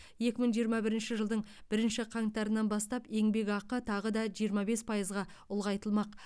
екі мың жиырма бірінші жылдың бірінші қаңтарынан бастап еңбекақы тағы да жиырма бес пайызға ұлғайтылмақ